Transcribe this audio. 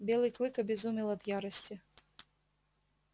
белый клык обезумел от ярости